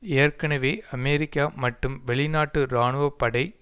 ஏற்கெனவே அமெரிக்கா மற்றும் வெளிநாட்டு இராணுவ படை